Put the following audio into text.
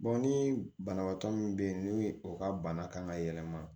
ni banabaatɔ min bɛ yen n'o ye o ka bana kan ka yɛlɛma